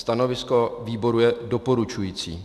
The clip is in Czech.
Stanovisko výboru je doporučující.